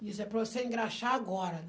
Disse, é para você engraxar agora.